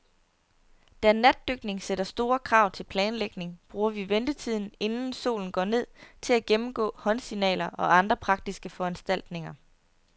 Da natdykning sætter store krav til planlægning, bruger vi ventetiden, inden solen går ned, til at gennemgå håndsignaler og andre praktiske foranstaltninger.